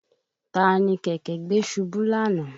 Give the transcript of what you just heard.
Taa ni kẹ̀kẹ́ gbé ṣubú lánàá?